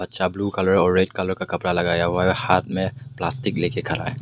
Blue colour और red colour का कपड़ा लगाया हुआ है हाथ में प्लास्टिक लेके खड़ा है।